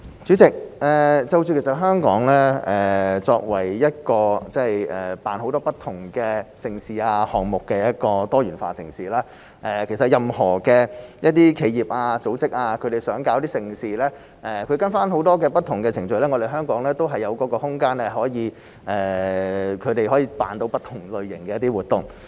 主席，香港作為一個舉辦很多不同盛事和項目的多元化城市，任何企業或組織若希望舉辦盛事，只要按照程序進行，香港是有空間讓它們舉辦不同類型的活動的。